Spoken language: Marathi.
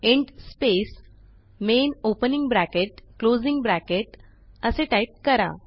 int space main opening bracket closing bracket असे टाईप करा